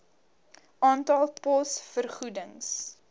aantal pos vergoedings